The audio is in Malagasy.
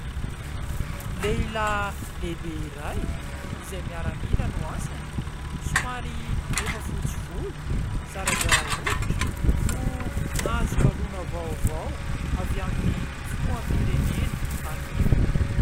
Lehilahy lehibe iray, izay miaramila no asany, somary efa fotsy volo, zarazara hoditra no nahazo galona vaovao avy amin'ny filoham-pirenena anio.